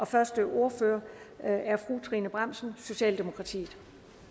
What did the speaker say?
første ordfører er er fru trine bramsen socialdemokratiet